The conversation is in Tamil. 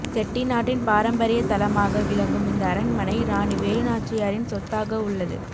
செட்டிநாட்டின் பாரம்பரிய தலமாக விளங்கும் இந்த அரண்மனை இராணி வேலு நாச்சியாரின் சொத்தாக உள்ளது